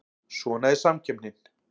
Svona er samkeppnin